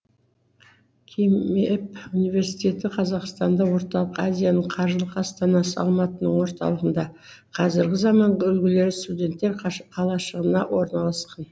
кимэп университеті қазақстанда орталық азияның қаржылық астанасы алматының орталығында қазіргі заманғы үлгідегі студенттер қалашығында орналасқан